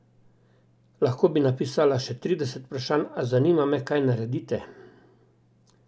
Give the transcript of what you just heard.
Lahko bi napisala še trideset vprašanj, a zanima me, kaj naredite?